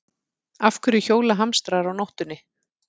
Af hverju hjóla hamstrar á nóttinni?